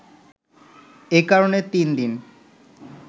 এ কারণে তিন দিন